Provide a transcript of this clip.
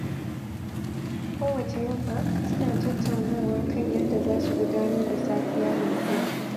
Kowacce yamma, suna tattaunawa kan yadda za su gudanar da safiya mai zuwa.